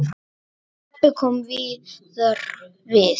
Stebbi kom víðar við.